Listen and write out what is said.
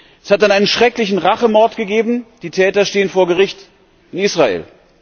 Es hat dann einen schrecklichen Rachemord gegeben, die Täter stehen vor Gericht in Israel.